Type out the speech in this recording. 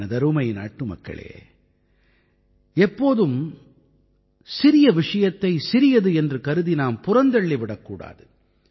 எனதருமை நாட்டுமக்களே எப்போதும் சிறிய விஷயத்தை சிறியது என்று கருதி நாம் புறந்தள்ளி விடக் கூடாது